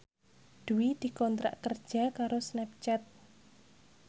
Dwi dikontrak kerja karo Snapchat